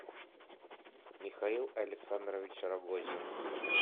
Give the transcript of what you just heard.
михаил александрович рогозин